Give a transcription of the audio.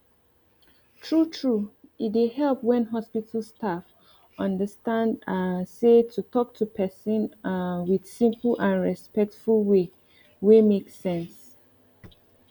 true true e dey help when hospital staff understand um say to talk to person um with simple and respectful way wey make sense